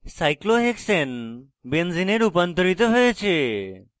cyclohexane benzene benzene a রুপান্তরিত হয়েছে